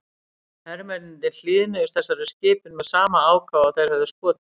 Hermennirnir hlýðnuðust þessari skipun með sama ákafa og þeir höfðu skotið.